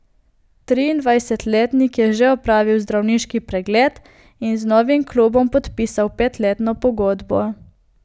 Triindvajsetletnik je že opravil zdravniški pregled in z novim klubom podpisal petletno pogodbo.